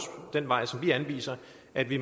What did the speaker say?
at vi